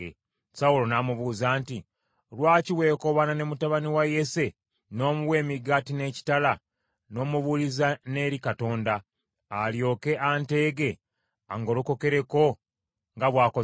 Sawulo n’amubuuza nti, “Lwaki weekobaana ne mutabani wa Yese, n’omuwa emigaati n’ekitala, n’omubuuliza n’eri Katonda, alyoke, anteege angolokokereko, nga bw’akoze leero?”